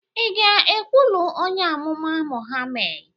ị ga-ekwụlụ onye amụma Mohammed?